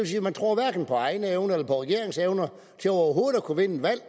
sige at man tror hverken på egne evner eller på regeringens evner til overhovedet at kunne vinde et valg